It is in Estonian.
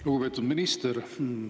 Lugupeetud minister!